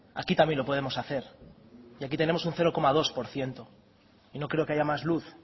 aquí también lo podemos hacer y aquí tenemos un cero coma dos por ciento y no creo que haya más luz